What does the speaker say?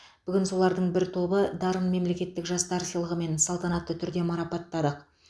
бүгін солардың бір тобы дарын мемлекеттік жастар сыйлығымен салтанатты түрде марапаттадық